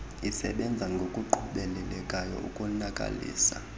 isebenze ngokuqhubelekayo ukonakalisa